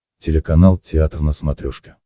телеканал театр на смотрешке